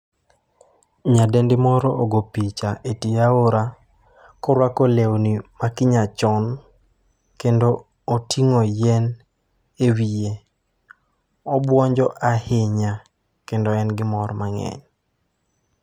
Nyadendi moro ogo picha e tie aora koruako lewni ma kinyachon kendo oting'o yien ewiye, obuonjo ahinya kendo en gi mor mang'eny.